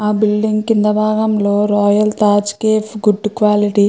ఆ బిల్డింగ్ కింద బాగం లో royal Taj cafe good quality --